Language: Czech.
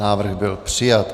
Návrh byl přijat.